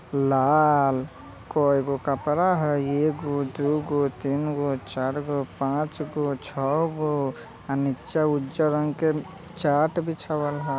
लाल कोयगो कपड़ा हैय एगो दुगो तीनगो चारगो पाँचगो छौगो अ निच्चे उज्जर रंग के चाट बिछवाल ह।